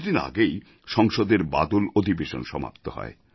কিছু দিন আগেই সংসদের বাদল অধিবেশন সমাপ্ত হয়